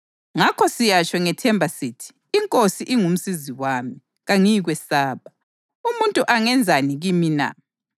Ngakho siyatsho ngethemba sithi: “INkosi ingumsizi wami; kangiyikwesaba. Umuntu angenzani kimi na?” + 13.6 AmaHubo 118.6-7